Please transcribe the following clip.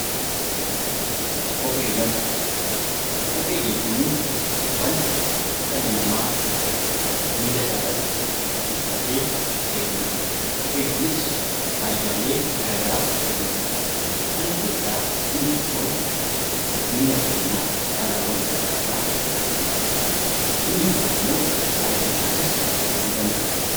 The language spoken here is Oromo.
Kopheewwan Kophee jechuun wanta dhalli namaa miila isaarratti uffatee deemu dha. Kopheen kunis faayidaalee garagaraaf ooluu danda'a. Isaan keessaa inni xiqqoon miila keenya balaawwan garagaraa irraa ittisuudhaafi dha. Inni biroon immoo bareedinaafis ooluu danda'a.